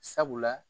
Sabula